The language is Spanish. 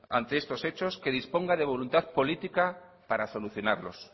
ante estos hechos que disponga de voluntad política para solucionarlos